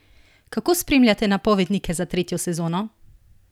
Kako spremljate napovednike za tretjo sezono?